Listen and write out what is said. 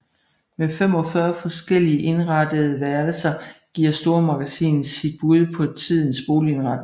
Med 45 forskellige indrettede værelser giver stormagasinet sit bud på tidens boligindretning